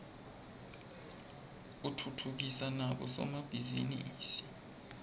utfutfukisa nabo somabhizinisi